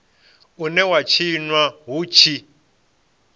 une wa tshinwa hu tshi